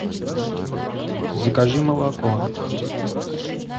закажи молоко